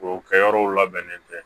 O kɛ yɔrɔw labɛnnen tɛ